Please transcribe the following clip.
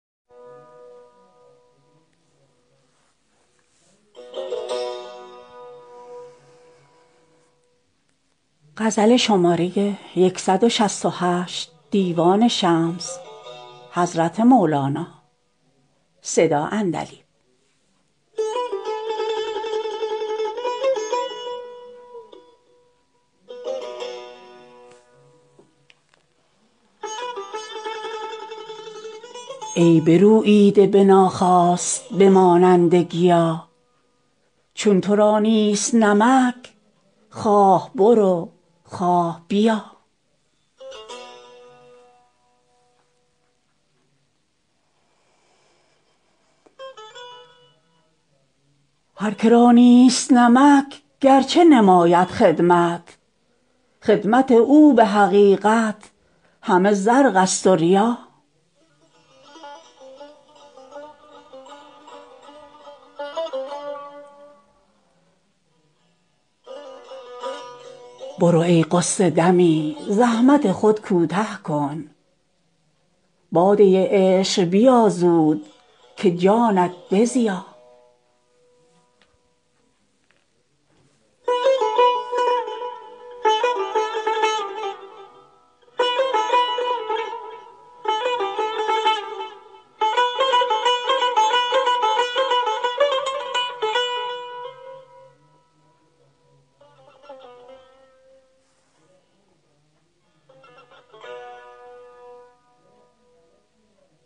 ای بروییده به ناخواست به مانند گیا چون تو را نیست نمک خواه برو خواه بیا هر که را نیست نمک گرچه نماید خدمت خدمت او به حقیقت همه زرقست و ریا برو ای غصه دمی زحمت خود کوته کن باده عشق بیا زود که جانت بزیا